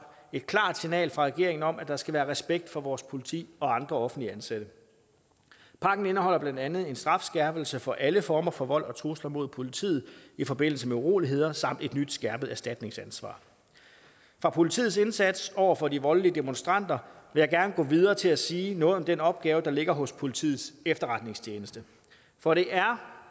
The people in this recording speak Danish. et klart signal fra regeringen om at der skal være respekt for vores politi og andre offentligt ansatte pakken indeholder blandt andet en strafskærpelse for alle former for vold og trusler mod politiet i forbindelse med uroligheder samt et nyt skærpet erstatningsansvar fra politiets indsats over for de voldelige demonstranter jeg gerne gå videre til at sige noget om den opgave der ligger hos politiets efterretningstjeneste for det er